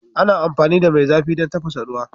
Ana amfani da mai zafi don tafasa ruwa